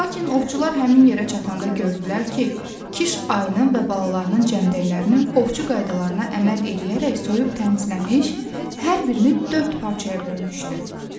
Lakin ovçular həmin yerə çatanda gördülər ki, Kiş ayının və balalarının cəmdəklərini ovçu qaydalarına əməl eləyərək soyub təmizləmiş, hər birini dörd parçaya bölmüşdü.